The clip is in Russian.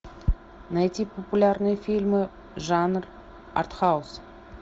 найти популярные фильмы жанр артхаус